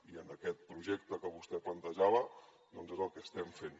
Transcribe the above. i en aquest projecte que vostè plantejava és el que estem fent